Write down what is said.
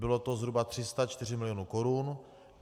Bylo to zhruba 304 milionů korun.